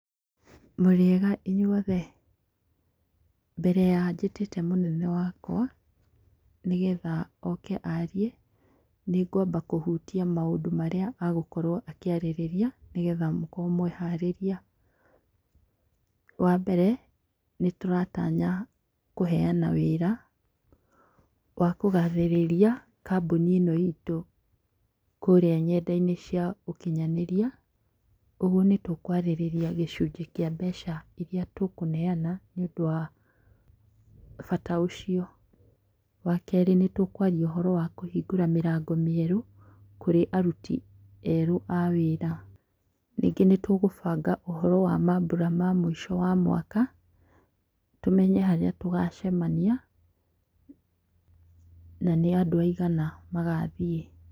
Mũrĩega inyuothe? Mbere ya njĩtĩte mũnene wakwa nĩgetha oke arie, nĩ ngwamba kũhutia maũndũ marĩa agũkorwo akĩarĩrĩria nĩgetha mũkorwo mweharĩria. Wa mbere nĩ tũratanya kũheana wĩra, wa kũgathĩrĩria, kambuni ĩno itũ, kũrĩa nyenda-inĩ cia ũkinyanĩria. Ũguo nĩ tũkwarĩrĩria gĩcunjĩ kĩa mbeca iria tũkũneana nĩũndũ wa bata ũcio. Wa kerĩ, nĩ tũkũaria ũhoro wa kũhingũra mĩrango mĩerũ kũrĩ aruti erũ a wĩra. Ningĩ nĩ tũgũbanga ũhoro wa mambura ma mũico wa mwaka, tũmenya harĩa tũgacemania, na nĩ andũ aigana magathiĩ.